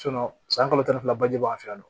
san kalo tan ni fila baji b'an fɛ yan nɔ